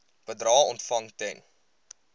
bedrae ontvang ten